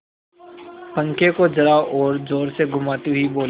पंखे को जरा और जोर से घुमाती हुई बोली